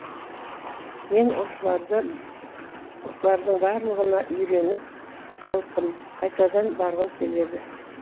мен осылардың барлығына үйреніп қалыппын қайтадан барғым келді